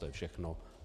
To je všechno.